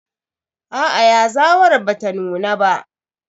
Aa yazawar bata nuna ba.